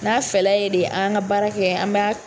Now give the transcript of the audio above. N'a fɛla ye de an ka baara kɛ an b'a.